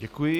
Děkuji.